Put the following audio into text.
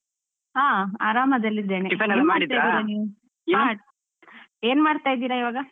ಹಾ ಆರಾಮದಲ್ಲಿದ್ದೇನೆ, ಏನ್ಮಾಡ್ತಾ ಇದ್ದೀರ ಇವಾಗ?